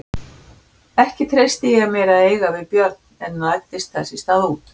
Þokan, sem tíðum lá yfir Grænlandshafi, vafði rekísinn oft í sitt gráa klæði.